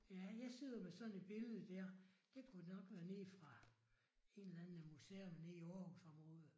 Ja jeg sidder med sådan et billede der det kunne nok være nede fra en eller anden museum nede i Aarhusområdet